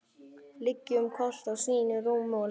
Liggjum hvor í sínu rúmi og lesum.